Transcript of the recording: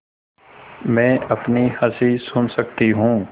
मैं अपनी हँसी सुन सकती हूँ